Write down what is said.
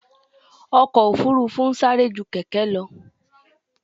Ọkò òfurufú ń sárẹ́ jú kẹ̀kẹ́ lọ.